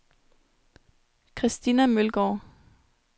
Christina Mølgaard